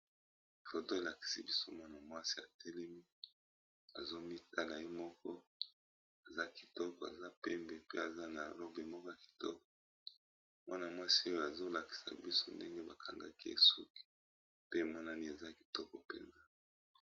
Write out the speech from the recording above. Foto elakisi biso mwana mwasi atelemi, azomitala ye moko. Aza kitoko, aza pembe, pe aza na robe kitoko. Mwana mwasi oyo azolakisa biso ndenge bakangaki ye suki pe emonani eza kitoko mpenza.